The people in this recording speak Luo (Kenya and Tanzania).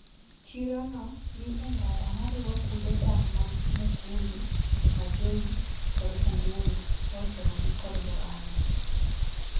Chiro no ni endara mariwo kunde dak ma Mukuyu, Majocye kod Kandundu kaochomo gi kod Murang'a.